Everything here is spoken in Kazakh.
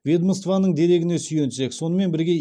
ведомствоның дерегіне сүйенсек сонымен бірге